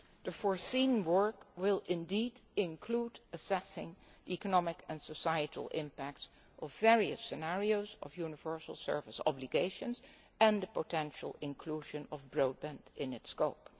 next year. The work foreseen will include assessing the economic and societal impact of various scenarios of universal service obligations and the potential inclusion of broadband in